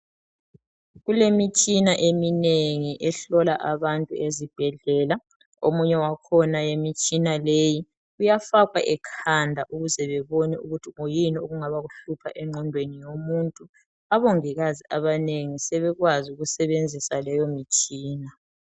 Kulemitshina eminengi ehlola abantu ezibhedlela omunye wakhona imitshina leyi uyafakwa ekhanda ukuze babone ukuthi kuyini okungabe okuhlupha engqondweni yomuntu, abongikazi abanengi sebekwazi ukusebenzisa leyo mitshina.